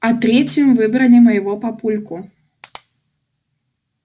а третьим выбрали моего папульку